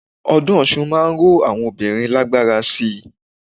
Ọdún Ọ̀ṣun máa ń ró àwọn obìnrin lágbára síi.